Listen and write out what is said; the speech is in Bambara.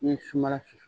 N'i ye suman susu